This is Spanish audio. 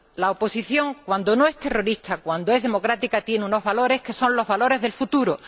La oposición, cuando no es terrorista, cuando es democrática, tiene unos valores, que son los valores del futuro.